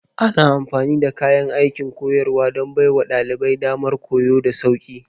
Ana amfani da kayan aikin koyarwa don baiwa ɗalibai damar koyo da sauƙi.